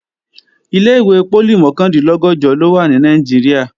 Ilé-ìwé poli mọ̀kàndínlọ́gọ̀jọ ló wà ní Nàìjíríà